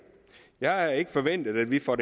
jeg har ikke forventet at vi får